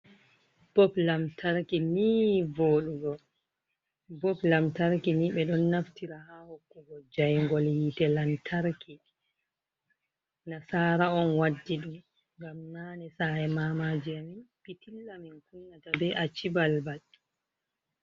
Bob lamtarki ni voɗugo, bob lantarki ni ɓeɗon naftira ha hokkugo jayngol hite lantarki, nasara on waddi ɗum ngam nane sa'e mamaji amin pitilla min kunnata be acci balbal.